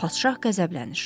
Padşah qəzəblənir.